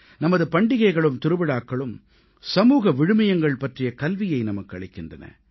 நமது பண்டிகைகளும் திருவிழாக்களும் சமூக விழுமியங்கள் பற்றிய கல்வியை நமக்கு அளிக்கின்றன